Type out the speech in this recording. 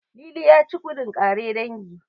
Lili ya ci gudun ƙare dangi.